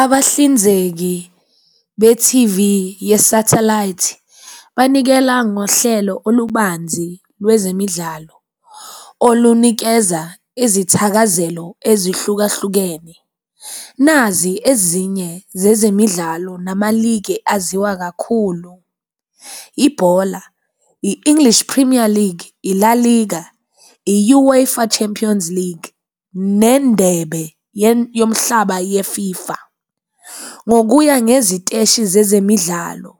Abahlinzeki be-T_V ye-satellite banikele ngohlelo olubanzi lwezemidlalo olunikeza izithakazelo ezehlukahlukene. Nazi ezinye zezemidlalo nama-league-e aziwa kakhulu, yibhola, i-English Premier League, i-La League, i-UEFA Champions League, nendebe yomhlaba ye-FIFA. Ngokuya ngeziteshi zezemidlalo,